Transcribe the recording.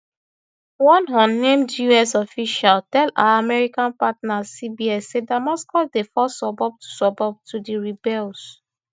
one unnamed us official tell our american partner cbs say damascus dey fall suburb by suburb to di rebels